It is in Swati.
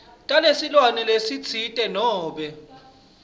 talesilwane lesitsite nobe